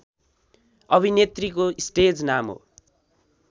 अभिनेत्रीको स्टेज नाम हो